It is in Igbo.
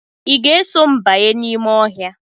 Ị ga-eso m banye n'ime ọhịa?